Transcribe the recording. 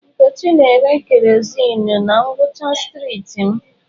Nkechi na-ere kerọsinụ na ngwụcha streetị m.